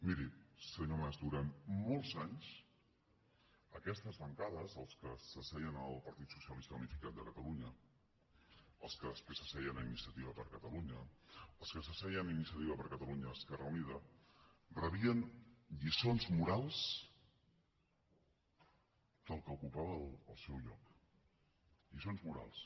miri senyor mas durant molts anys en aquestes bancades en què s’asseien el partit socialista unificat de catalunya en què després s’asseien iniciativa per catalunya en què s’asseien iniciativa per catalunya esquerra unida rebien lliçons morals del que ocupava el seu lloc lliçons morals